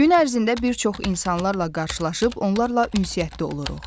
Gün ərzində bir çox insanlarla qarşılaşıb onlarla ünsiyyətdə oluruq.